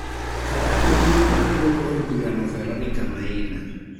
Karan maduong' mar duond od burano Veronica Maina